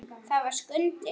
Það var Skundi.